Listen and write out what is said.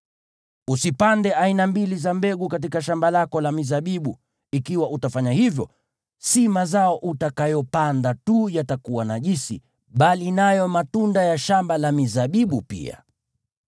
Usipande aina mbili za mbegu katika shamba lako la mizabibu; ikiwa utafanya hivyo, si mazao utakayopanda tu yatakuwa najisi, bali nayo matunda ya shamba la mizabibu pia.